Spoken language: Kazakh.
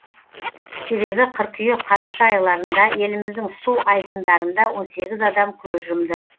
себебі қыркүйек қараша айларында еліміздің су айдындарында он сегіз адам көз жұмды